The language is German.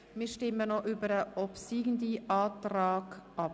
Wir stimmen nun über den obsiegenden Antrag ab.